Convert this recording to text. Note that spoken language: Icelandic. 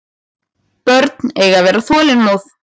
Börn eiga að vera þolinmóð.